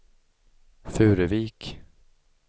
Furuvik